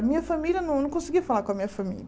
A minha família, não não conseguia falar com a minha família.